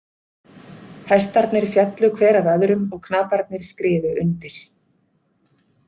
Hestarnir féllu hver af öðrum og knaparnir skriðu undir.